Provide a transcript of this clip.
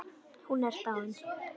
Hún er dáin.